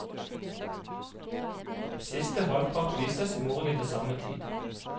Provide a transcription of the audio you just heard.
Siste halvpart vises i morgen til samme tid.